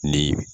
Ni